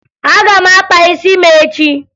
Aga m akpa isi m echi